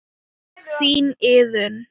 Þín, Iðunn.